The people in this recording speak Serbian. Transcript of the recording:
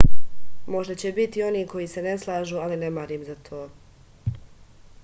možda će biti onih koji se ne slažu ali ne marim za to